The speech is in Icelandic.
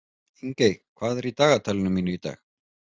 Ingey, hvað er í dagatalinu mínu í dag?